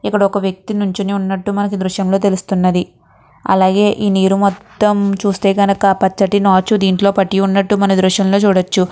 ఇక్కడొక వ్యక్తి నుంచొని ఉన్నట్టు మనకి దృశ్యం లో తెలుస్తున్నది అలాగే ఈ నీరు మొత్తం చుస్తే గనక పచ్చటి నాచు దీంట్లో పట్టి ఉన్నట్టు మన దృశ్యంలో చూడొచ్చు.